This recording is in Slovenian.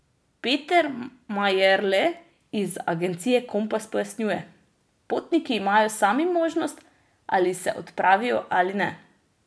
Peter Majerle iz agencije Kompas pojasnjuje: 'Potniki imajo sami možnost, ali se odpravijo ali ne.